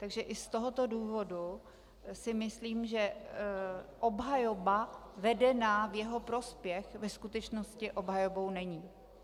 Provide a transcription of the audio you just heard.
Takže i z tohoto důvodu si myslím, že obhajoba vedená v jeho prospěch ve skutečnosti obhajobou není.